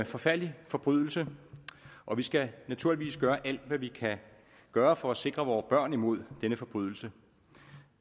forfærdelig forbrydelse og vi skal naturligvis gøre alt hvad vi kan gøre for at sikre vore børn mod denne forbrydelse